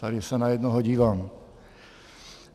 Tady se na jednoho dívám.